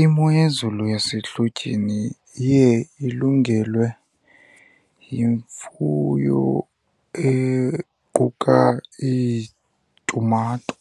Imo yezulu yasehlotyeni iye ilungelwe yimfuyo equka iitumato,